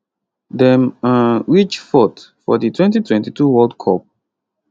dem um reach 4th for di 2022 world cup